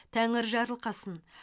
тәңір жарылқасын